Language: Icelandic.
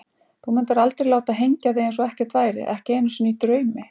Þú mundir aldrei láta hengja þig eins og ekkert væri, ekki einu sinni í draumi.